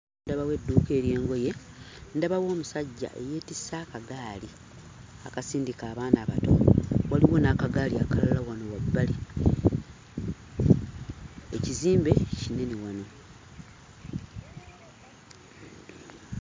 Ndabawo edduuka ery'engoye, ndabawo omusajja eyeetisse akagaali akasindika abaana abato, waliwo n'akagaali akalala wano wabbali. Ekizimbe kinene wano.